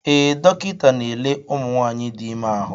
Ee, dọkịta n'ele ụmụ nwanyị dị ime ahụ.